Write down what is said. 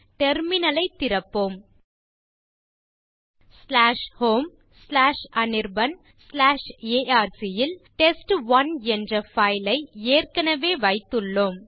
terminal ஐத் திறப்போம் homeanirbanarc ல் டெஸ்ட்1 என்ற பைல் ஐ ஏற்கனவே வைத்துள்ளோம்